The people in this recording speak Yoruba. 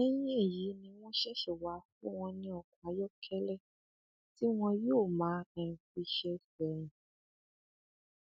lẹyìn èyí ni wọn ṣẹṣẹ wáá fún wọn ní ọkọ ayọkẹlẹ tí wọn yóò máa um fi ṣe ẹsẹ rìn um